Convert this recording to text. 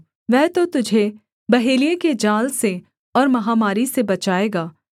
वह तो तुझे बहेलिये के जाल से और महामारी से बचाएगा